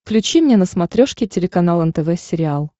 включи мне на смотрешке телеканал нтв сериал